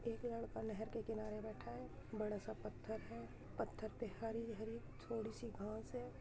एक लड़का नहर के किनारे बैठा है बड़ा सा पत्थर है पत्थर पे हरी-हरी थोड़ी सी घांस है।